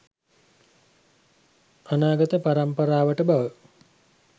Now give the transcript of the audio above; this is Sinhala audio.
අනාගත පරම්පරාවට බව.